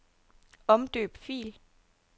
Omdøb fil.